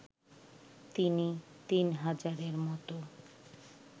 তিনি তিন হাজারের মতো